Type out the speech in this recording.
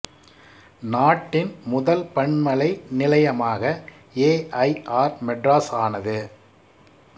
நாட்டின் முதல் பண்பலை நிலையமாக ஏ ஐ ஆர் மெட்ராஸ் ஆனது